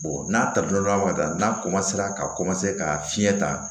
n'a ta don ka taa n'a ka ka fiɲɛ ta